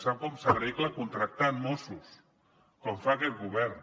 sap com s’arregla contractant mossos com fa aquest govern